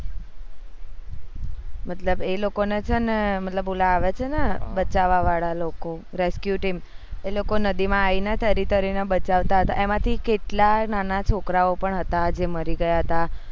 મતલબ એ લોકો ને છે ને મતલબ ઓલા આવે છે ને બચવા વાળા લોકો rescue team એ લોકો નદી માં આયી ને તરી તરી ને બચાવતા હતા એમાંથી કેટલા નાના છોકરા ઓ પણ હતા જે મરી ગયા હતા